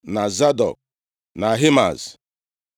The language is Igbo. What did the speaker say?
na Zadọk, na Ahimaaz.